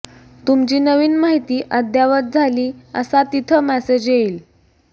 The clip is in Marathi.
तुमची नवीन माहिती अद्यावत झाली असा तिथं मेसेज येईल